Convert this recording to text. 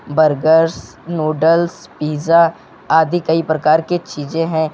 Burgers noodles pizza आदि कई प्रकार की चीजें हैं।